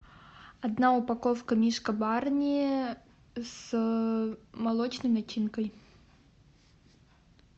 одна упаковка мишка барни с молочной начинкой